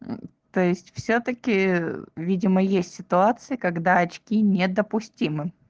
то есть всё-таки видимо есть ситуации когда очки недопустимы